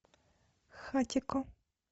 хатико